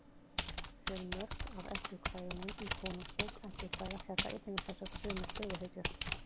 fjölmörg af eddukvæðunum í konungsbók eddukvæða fjalla einnig um þessar sömu söguhetjur